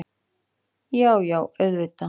Já, já auðvitað.